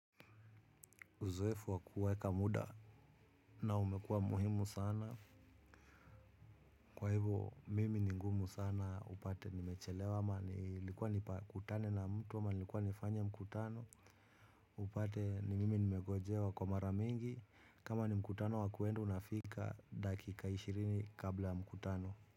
Uzoefu wakuweka muda na umekua muhimu sana. Kwa hivo mimi ni ngumu sana upate nimechelewa ama nilikuwa nipakutane na mtu ama nilikuwa nifanye mkutano. Upate ni mimi nimegojewa kwa maramingi kama ni mkutano wakuenda unafika dakika ishirini kabla ya mkutano.